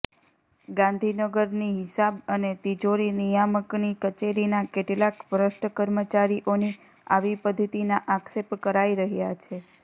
ગાંધીનગરની હિસાબ અને તિજોરી નિયામકની કચેરીના કેટલાક ભ્રષ્ટ કર્મચારીઓની આવી પધ્ધતિના આક્ષેપ કરાઈ રહ્યા છે